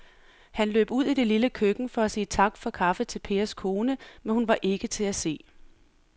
Han løb ud i det lille køkken for at sige tak for kaffe til Pers kone, men hun var ikke til at se.